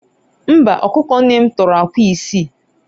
Mba, ọkụkọ nne m tọrọ akwa isii